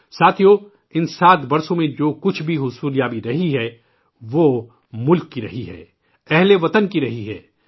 ساتھیوں، ان 7 سالوں میں جو کچھ بھی حصولیابی رہی ہے، وہ ملک کی رہی ہے، ہم وطنوں کی رہی ہے